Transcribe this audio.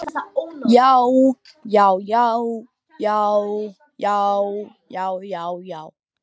JÁ, JÁ, JÁ, JÁ, JÁ, JÁ, JÁ, JÁ.